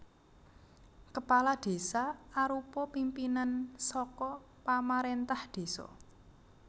Kepala Desa arupa pimpinan saka pamarèntah désa